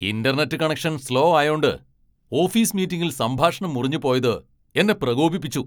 Internet connection slow ആയോണ്ട് office മീറ്റിംഗിൽ സംഭാഷണം മുറിഞ്ഞു പോയത് എന്നെ പ്രകോപിപ്പിച്ചു.